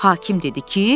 Hakim dedi ki: